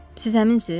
Siz həminsiz?